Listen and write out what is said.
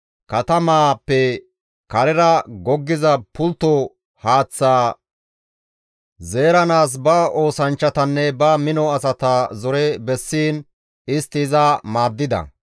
katamaappe karera goggiza pultto haaththaa zeeranaas ba oosanchchatanne ba mino asata zore bessiin istti iza maaddida.